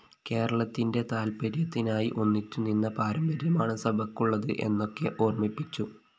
കേരളത്തിന്റെ താല്പര്യത്തിനായി ഒന്നിച്ചുനിന്ന പാരമ്പര്യമാണ് സഭയ്ക്കുള്ളത് എന്നൊക്കെ ഓര്‍മ്മിപ്പിച്ചു